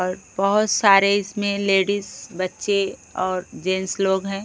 अर बहोत सारे इसमें लेडिस बच्चे और जेंट्स लोग हैं।